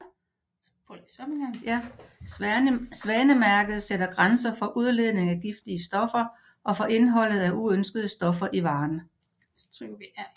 Svanemærket sætter grænser for udledning af giftige stoffer og for indholdet af uønskede stoffer i varen